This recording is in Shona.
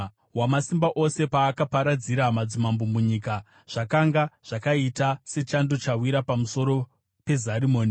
Wamasimba Ose paakaparadzira madzimambo munyika, zvakanga zvakaita sechando chawira pamusoro peZarimoni.